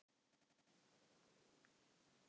Sumir eru óvitar og frussa framan í mann!